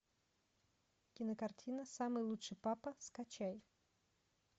кинокартина самый лучший папа скачай